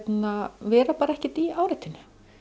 vera bara ekkert í áreitinu